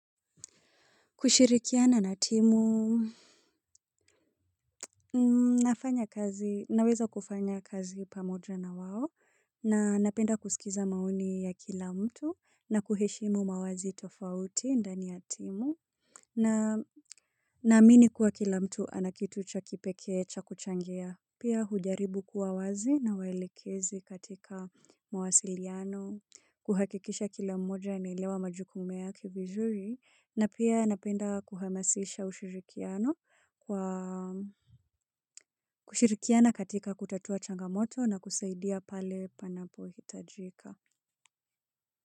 Kushirikiana na timu. Nafanya kazi, naweza kufanya kazi pamoja na wao, na napenda kusikiza maoni ya kila mtu, na kuheshimu mawazi tofauti ndani ya timu, na naamini kuwa kila mtu ana kitu cha kipekee cha kuchangia. Pia hujaribu kuwa wazi na waelekezi katika mawasiliano, kuhakikisha kila mmoja anaelewa majukumu yake vizuri na pia napenda kuhamasisha ushirikiano kwa kushirikiana katika kutatua changamoto na kusaidia pale panapohitajika.